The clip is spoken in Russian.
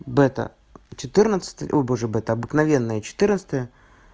бета четырнадцатая ой боже бета обыкновенная четырнадцатая